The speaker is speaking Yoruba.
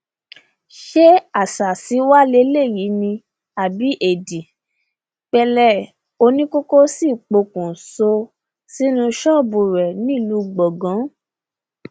ṣé àṣàsí wàá lélẹyìí ni àbí éèdì pẹlẹ oníkókó sì pokùṣọ sínú ṣọọbù rẹ nílùú gbọngàn